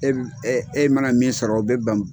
E b e mana min sɔrɔ o bɛ bɛn.